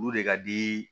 Olu de ka di